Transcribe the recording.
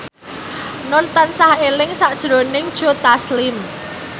Nur tansah eling sakjroning Joe Taslim